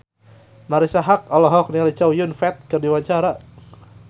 Marisa Haque olohok ningali Chow Yun Fat keur diwawancara